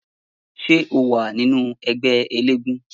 Ṣé ó wà nínú ẹgbẹ́ eléégún?